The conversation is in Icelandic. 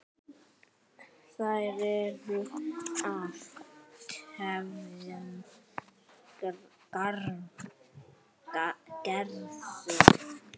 Þær eru af tveimur gerðum.